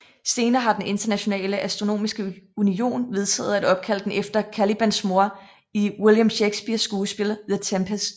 Senere har den Internationale Astronomiske Union vedtaget at opkalde den efter Calibans mor i William Shakespeares skuespil The Tempest